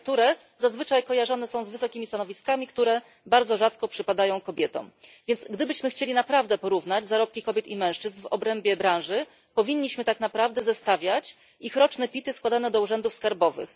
które zazwyczaj kojarzone są z wysokimi stanowiskami, które bardzo rzadko przypadają kobietom. Więc gdybyśmy chcieli naprawdę porównać zarobki kobiet i mężczyzn w obrębie branży, powinniśmy tak naprawdę zestawiać ich roczne PIT y składane do urzędów skarbowych.